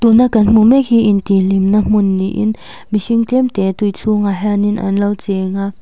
tuna kan hmuh mek hi in tih hlimna hmun niin mihring tlemte tui chhungah hian in an lo cheng a.